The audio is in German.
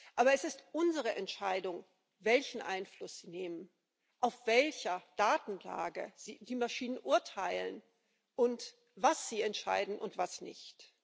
Aber es ist unsere Entscheidung, welchen Einfluss sie nehmen, auf welcher Datenlage die Maschinen urteilen und was sie entscheiden und was nicht.